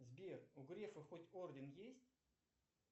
сбер у грефа хоть орден есть